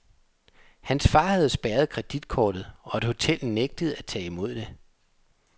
Hans far havde spærret kreditkortet, og et hotel nægtede at tage imod det.